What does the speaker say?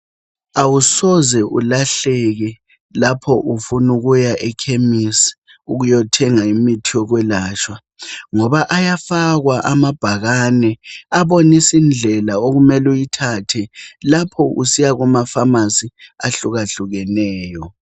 Awusoze ulahleke lapho ufunukuya ekhemisi ukuyothenga imithi yokwelatshwa. Ngoba ayafakwa amabhakane abonisindlela okumeluyithathe lapho usiya kumafamasi ahlukahlukeneyo.